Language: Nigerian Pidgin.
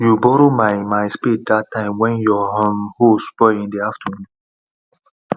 you borrow my my spade that time wen your um hoe spoil in the afternoon